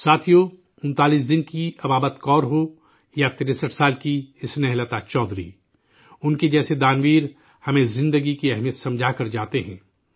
ساتھیو، 39 دن کی بابت کور ہو یا 63 سال کی اسنیہ لتا چودھری، ان کے جیسے دان ویر، ہمیں زندگی کی اہمیت سمجھا کر جاتے ہیں